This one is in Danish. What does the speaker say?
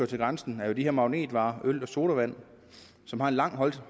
til grænsen er jo magnetvarer øl og sodavand som har lang